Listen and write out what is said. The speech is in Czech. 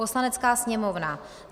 Poslanecká sněmovna: